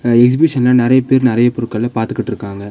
இந்த எக்ஸ்பிஷன்ல நெறையபேர் நெறைய பொருட்கள பாத்துகிட்ருக்காங்க.